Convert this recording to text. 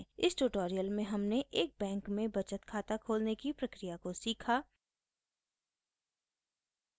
इस ट्यूटोरियल में हमने एक बैंक में बचत खाता खोलने की प्रक्रिया को सीखा